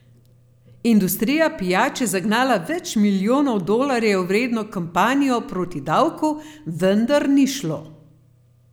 Industrija pijač je zagnala več milijonov dolarjev vredno kampanjo proti davku, vendar ni šlo.